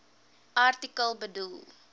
artikel bedoel